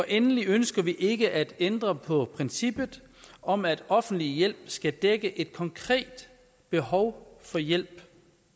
endelig ønsker vi ikke at ændre på princippet om at offentlig hjælp skal dække et konkret behov for hjælp